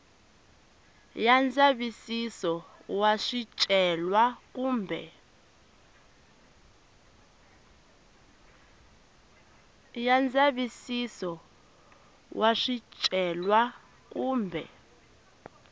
ya ndzavisiso wa swicelwa kumbe